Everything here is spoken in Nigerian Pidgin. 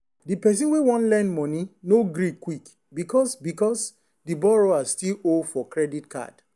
the person wey wan lend money no gree quick because because the borrower still owe for credit card.